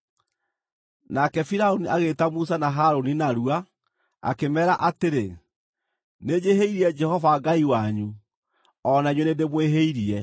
Nake Firaũni agĩĩta Musa na Harũni narua, akĩmeera atĩrĩ, “Nĩnjĩhĩirie Jehova Ngai wanyu, o na inyuĩ nĩndĩmwĩhĩirie.